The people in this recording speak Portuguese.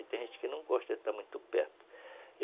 E tem gente que não gosta de estar muito perto.